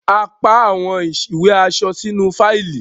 a pá àwọn ìwé aṣẹ sínú Fáìlì